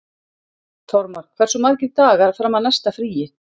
Þormar, hversu margir dagar fram að næsta fríi?